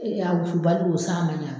E y'a wusubali don san man ɲi a ma